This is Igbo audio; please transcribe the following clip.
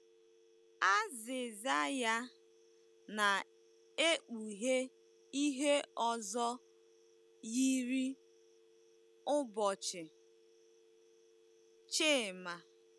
Azịza ya na-ekpughe ihe ọzọ yiri ụbọchị Chima.